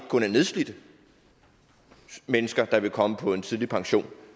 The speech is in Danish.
kun er nedslidte mennesker der vil komme på en tidlig pension